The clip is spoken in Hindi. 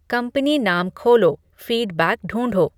कंपनी नाम खोलो फ़ीडबैक ढूँढो